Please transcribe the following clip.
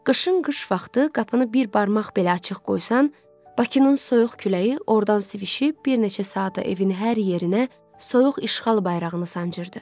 Qışın qış vaxtı qapını bir barmaq belə açıq qoysan, Bakının soyuq küləyi ordan sivişib bir neçə saata evinin hər yerinə soyuq işğal bayrağını sancırdı.